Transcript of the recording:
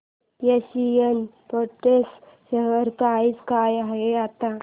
Asian Paints share price काय आहे आता